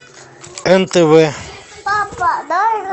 нтв